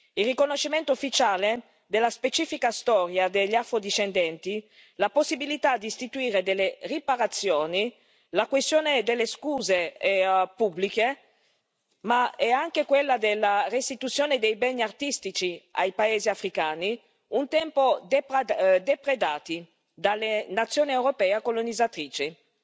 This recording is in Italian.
Il riconoscimento ufficiale della specifica storia degli afro discendenti, la possibilità di istituire delle riparazioni, la questione delle scuse pubbliche, ma anche quella della restituzione dei beni artistici ai paesi africani, un tempo depredati dalle nazioni europee colonizzatrici, nonché